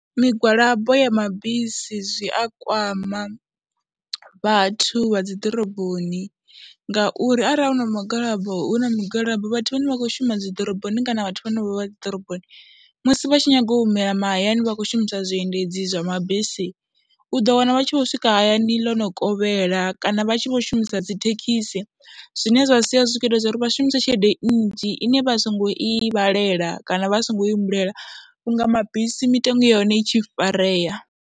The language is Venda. Migwalabo ya mabisi zwi a kwama vhathu vha dzi ḓoroboni ngauri arali hu na migwalabo, hu na migwalabo vhathu vhane vha khou shuma dzi ḓoroboni kana vhathu vhane vha vha dzi ḓoroboni musi vha tshi nyaga u humela mahayani vha khou shumisa zwiendedzi zwa mabisi, u ḓo wana vha tshi vho swika hayani ḽo no kovhela kana vha tshi vho shumisa dzi thekhisi zwine zwa sia zwi tshi khou ita zwa uri vha shumise tshelede nnzhi ine vha songo i vhalela kana vha songo humbulela vhunga mabisi mitengo ya hone i tshi farea.